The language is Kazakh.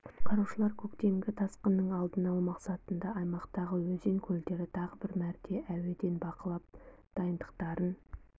құтқарушылар көктемгі тасқынның алдын алу мақсатында аймақтағы өзен көлдерді тағы бір мәрте әуеден бақылап дайындықтарын